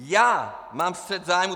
Já mám střet zájmů.